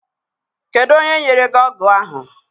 Kedụ onye nyere gị ọgụ ahụ?